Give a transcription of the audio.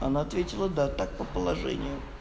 она ответила да так по положению